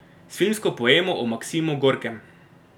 S filmsko poemo o Maksimu Gorkem.